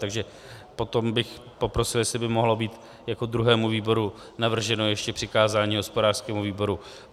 Takže potom bych poprosil, jestli by mohlo být jako druhému výboru navrženo ještě přikázání hospodářskému výboru.